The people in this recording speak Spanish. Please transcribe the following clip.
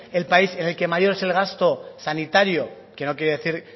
el país en el que mayor es el gasto sanitario que no quiere decir